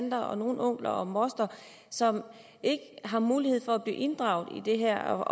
tanter og nogle onkler og mostre som ikke har mulighed for at blive inddraget i det her